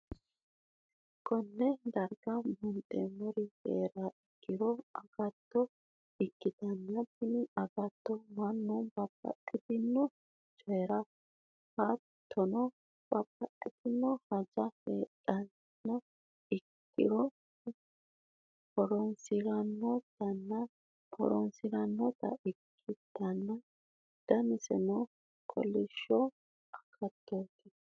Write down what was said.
konne darga buunxeemmori hee'riha ikkiro agatto ikkitanna, tini agatto mannu babbaxxino coyira hattono, babbaxitino hajjo heedhuha ikkiro horonsi'nannita ikkitanna ,danaseno kolishsho agattooti.